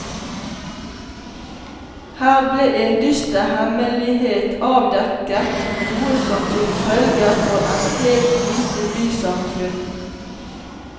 Her ble en dyster hemmelighet avdekket, noe som fikk følger for et helt lite bysamfunn.